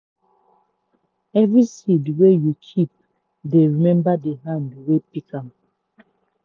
every seed wey you keep dey remember the hand wey pick am.